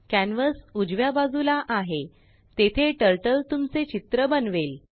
canvas उजव्या बाजूलाआहेतेथेTurtleतुमचे चित्र बनवेल